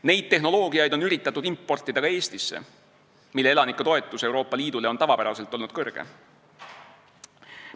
Neid tehnoloogiaid on üritatud importida ka Eestisse, mille elanike toetus Euroopa Liidule on tavapäraselt olnud kõrge.